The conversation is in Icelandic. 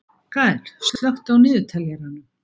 Gael, slökktu á niðurteljaranum.